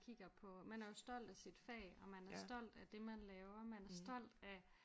Kigger på man er jo stolt af sit fag og man er stolt af det man laver man er stolt af